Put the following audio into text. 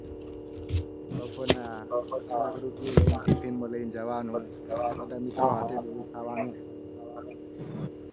બપોર ના શાક રોટલી લઈને tiffin લઈને જવાનું. બધા મિત્રો સાથે બેસીને ખાવાનું.